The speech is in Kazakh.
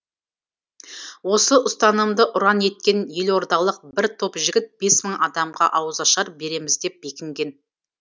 осы ұстанымды ұран еткен елордалық бір топ жігіт бес мың адамға ауызашар береміз деп бекінген